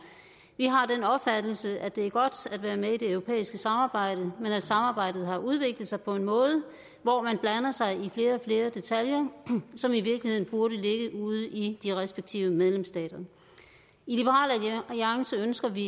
vi har den opfattelse at det er godt at være med i det europæiske samarbejde men at samarbejdet har udviklet sig på en måde hvor man blander sig i flere og flere detaljer som i virkeligheden burde ligge ude i de respektive medlemsstater i liberal alliance ønsker vi